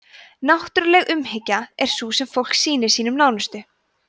náttúruleg umhyggja er sú sem fólk sýnir sínum nánustu